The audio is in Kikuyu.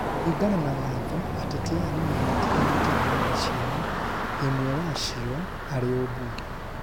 kũringana na watho ateti aya nĩmenyitithanĩtie na irathi ciao ĩmwe wa cĩo arĩ umbunge